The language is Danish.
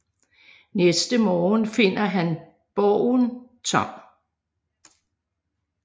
Næste morgen finder han borgen tom